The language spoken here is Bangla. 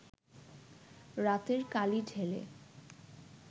রাতের কালি ঢেলে